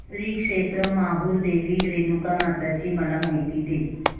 श्री क्षेत्र माहूर देवी रेणुकामाता ची मला माहिती दे